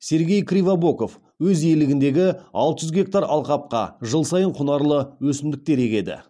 сергей кривобоков өз иелегіндегі алты жүз гектар алқапқа жыл сайын құнарлы өсімдіктер егеді